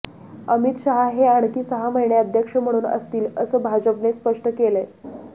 अमित शहा हे आणखी सहा महिने अध्यक्ष म्हणून असतील असं भाजपने स्पष्ट केलंय